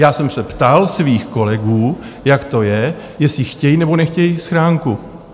Já jsem se ptal svých kolegů, jak to je, jestli chtějí, nebo nechtějí schránku.